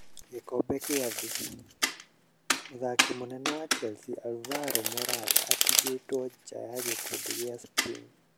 Gĩkombe kĩa Thĩĩ:mũthaki mũnene wa Chelsea Alvaro Morataatigitwe nja ya gĩkundi kĩa Spain